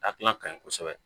Akila kaɲi kosɛbɛ